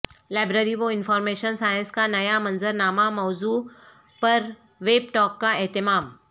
library و information science کا نیا منظرنامہ موضوع پر ویب ٹاک کا اہتمام